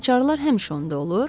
Açarlar həmişə onda olur?